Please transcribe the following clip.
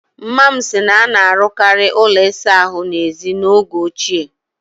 Mma m si na a na-arụkarị ụlọ ịsa ahụ n'èzí n'oge ochie